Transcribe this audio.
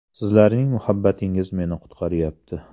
Sizlarning muhabbatingiz meni qutqaryapti.